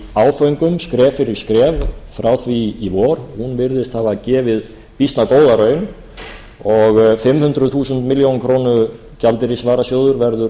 áföngum skref fyrir skref frá því í vor virðist hafa gefið býsna góða raun og fimm hundruð þúsund milljónir króna gjaldeyrisvarasjóður verður